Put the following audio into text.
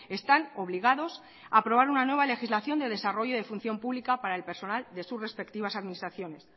están obligados a aprobar una nueva legislación de desarrollo de función pública para el personal de su respectivas administraciones